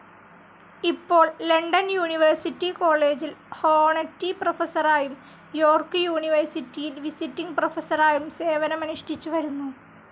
ഇപ്പോൾ London university കോളേജിൽ honorary പ്രൊഫസറായും യോർക്ക് യൂണിവേഴ്സിറ്റിയിൽ വിസിറ്റിങ്‌ പ്രൊഫസറായും സേവനമനുഷ്ഠിച്ചു വരുന്നു.